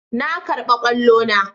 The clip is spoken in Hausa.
Na karba kwallo na.